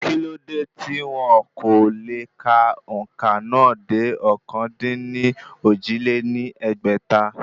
Kí ló dé tí wọn kò le ka òǹkà náà dé ọ̀kan-dín-ní-ojì lé ní ẹgbẹ́ta?